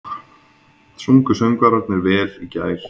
Sungu söngvararnir vel í gær?